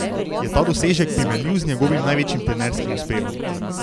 Je ta dosežek primerljiv z njegovim največjim trenerskim uspehom?